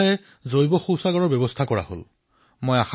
ঠায়েঠায়ে বায়টয়লেটৰ ব্যৱস্থা কৰিলে